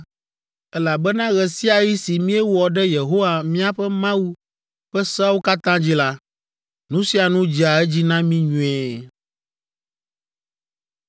elabena ɣe sia ɣi si míewɔ ɖe Yehowa miaƒe Mawu ƒe seawo katã dzi la, nu sia nu dzea edzi na mí nyuie.”